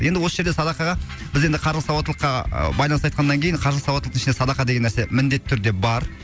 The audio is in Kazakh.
енді осы жерде садақаға біз енді қаржылық сауаттылыққа байланысты айтқаннан кейін қаржылық сауаттылықтың ішінде садақа деген нәрсе міндетті түрде бар